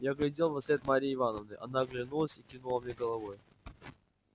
я глядел вослед марьи ивановны она оглянулась и кивнула мне головой